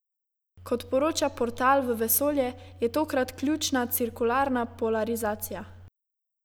Kot poroča Portal v vesolje, je tokrat ključna cirkularna polarizacija.